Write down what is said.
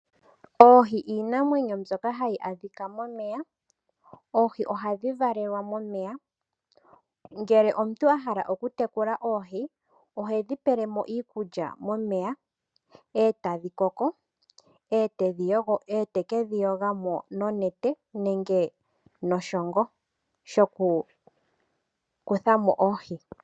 Oohi iinamwenyo mbyoka hayi adhika momeya, nohadhi valelwa momeya. Ngele omuntu ahala okutekula oohi, ohedhi pelemo iikulya momeya, e tadhi koko, e teke dhi yuga mo nonete, nenge noshongo shokukuthamo oohi.